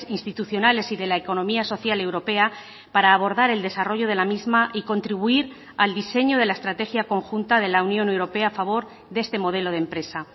institucionales y de la economía social europea para abordar el desarrollo de la misma y contribuir al diseño de la estrategia conjunta de la unión europea a favor de este modelo de empresa